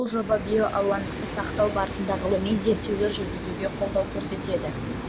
бұл жоба биоалуандылықты сақтау саласында ғылыми зерттеулер жүргізуге қолдау көрсетеді